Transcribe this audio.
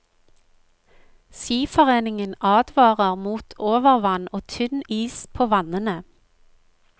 Skiforeningen advarer mot overvann og tynn is på vannene.